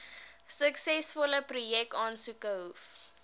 suksesvolle projekaansoeke hoef